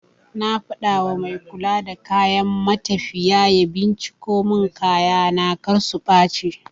Na faɗawa mai kula da kayan matafiya ya binciko mun kayana kar su ɓace